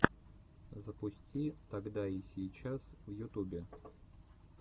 запусти тогда и сейчас в ютубе